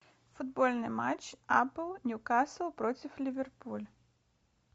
футбольный матч апл ньюкасл против ливерпуль